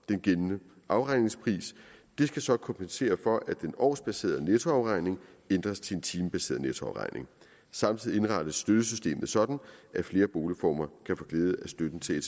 den gældende afregningspris det skal så kompensere for at den årsbaserede nettoafregning ændres til en timebaseret nettoafregning samtidig indrettes støttesystemet sådan at flere boligformer kan få glæde af støtten til at